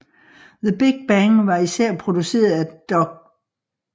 The Big Bang var især produceret af Dr